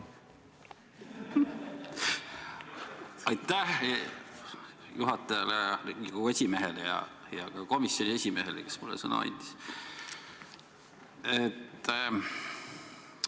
Aitäh juhatajale, Riigikogu aseesimehele ja ka komisjoni esimehele, kes mulle sõna andis!